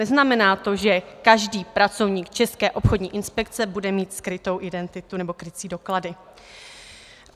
Neznamená to, že každý pracovník České obchodní inspekce bude mít skrytou identitu nebo krycí doklady.